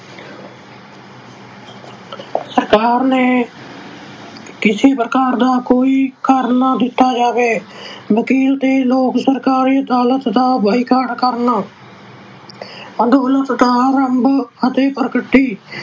ਸਰਕਾਰ ਨੂੰ ਕਿਸੇ ਪ੍ਰਕਾਰ ਦਾ ਕੋਈ ਕਰ ਨਾ ਦਿੱਤਾ ਜਾਵੇ। ਵਕੀਲ ਤੇ ਲੋਕ ਸਰਕਾਰੀ ਅਦਾਲਤ ਦਾ boycott ਕਰਨ। ਅੰਦੋਲਨ ਦਾ ਆਰੰਭ ਅਤੇ ਪ੍ਰਗਤੀ